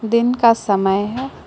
दिन का समय है।